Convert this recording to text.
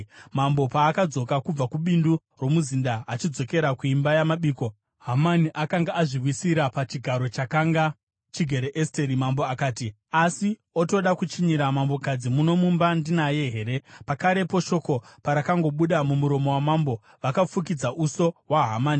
Mambo paakadzoka kubva kubindu romuzinda achidzokera kuimba yamabiko, Hamani akanga azviwisira pachigaro chakanga chigere Esteri. Mambo akati, “Asi otoda kuchinyira mambokadzi muno mumba ndinaye here?” Pakarepo shoko parakangobuda mumuromo wamambo, vakafukidza uso hwaHamani.